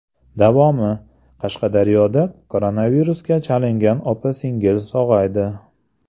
Davomi: Qashqadaryoda koronavirusga chalingan opa-singil sog‘aydi.